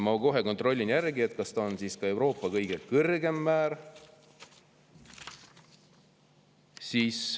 Ma kohe kontrollin, kas see on siis Euroopa kõige kõrgem määr.